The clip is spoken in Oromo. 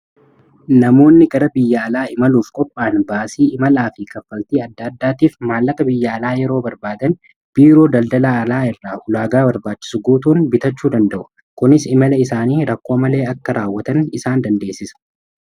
Namoonni gara biyya alaa imaluuf qopha'an baasii imalaa fi kaffaltii adda addaatiif maallaqa biyya alaa yeroo barbaadan biiroo daldalaa alaa irraa ulaagaa barbaachisu guutuun bitachuu danda'u kunis imala isaanii rakkoo malee akka raawwatan isaan dandeessisa.